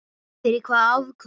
Fyrir hvaða afköst?